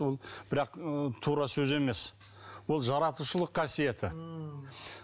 ол бірақ ы тура сөз емес ол жаратушылық қасиеті ммм